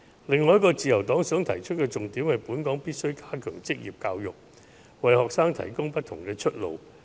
另一個自由黨想提出的重點是本港必須加強職業教育，為學生提供不同的出路。